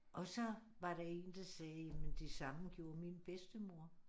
Og så var der én der sagde jamen det samme gjorde min bedstemor